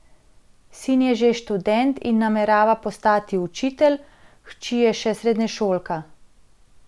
Sin je že študent in namerava postati učitelj, hči je še srednješolka.